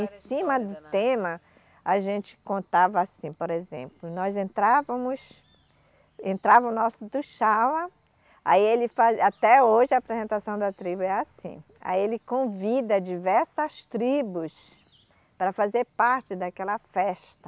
Em cima do tema, a gente contava assim, por exemplo, nós entrávamos, entrava o nosso tuxaua, aí ele faz, até hoje a apresentação da tribo é assim, aí ele convida diversas tribos para fazer parte daquela festa.